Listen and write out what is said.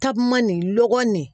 Takuma nin lɔgɔ nin